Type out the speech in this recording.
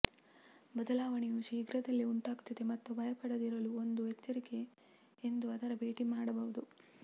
ಬದಲಾವಣೆಯು ಶೀಘ್ರದಲ್ಲೇ ಉಂಟಾಗುತ್ತದೆ ಮತ್ತು ಭಯಪಡದಿರಲು ಒಂದು ಎಚ್ಚರಿಕೆ ಎಂದು ಅದರ ಭೇಟಿ ಮಾಡಬಹುದು